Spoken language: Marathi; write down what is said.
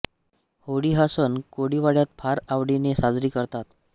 होळी हा सण कोळीवाड्यात फार आवडीने साजरी करतात